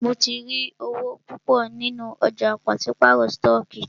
Mó tí rí owó púpọ nínú ọ̀jà pàṣípàrọ̀ stọọkí.